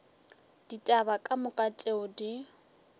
ditaba ka moka tšeo di